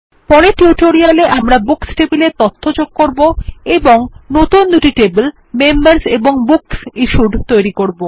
পরের টিউটোরিয়ালে আমরা বুকস টেবিলে তথ্য যোগ করব এবং নতুন দুটি টেবিল মেম্বার্স এবং বুকস ইশ্যুড টেবিল বানাবো